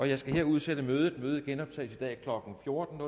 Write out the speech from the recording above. jeg skal her udsætte mødet det genoptages i dag klokken fjorten